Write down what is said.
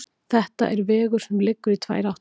Þetta er vegur sem liggur í tvær áttir.